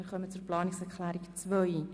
Abstimmung (Planungserklärung 6